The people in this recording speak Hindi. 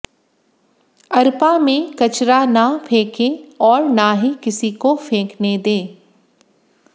अरपा में कचरा न फेंके और न ही किसी को फेंकने दें